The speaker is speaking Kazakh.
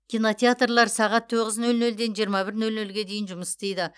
кинотеатрлар сағат тоғыз нөл нөлден жиырма бір нөл нөлге дейін жұмыс істейді